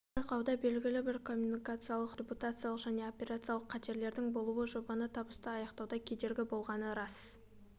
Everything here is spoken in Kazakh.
бұл байқауда белгілі бір коммуникациялық репутациялық және операциялық қатерлердің болуы жобаны табысты аяқтауда кедергі боғланы рас